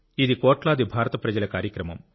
ఇది కోట్లాది భారత ప్రజల కార్యక్రమం